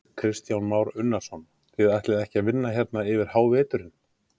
Kristján Már Unnarsson: Þið ætlið ekki að vinna hérna yfir háveturinn?